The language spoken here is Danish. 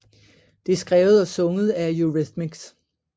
Det er skrevet og sunget af Eurythmics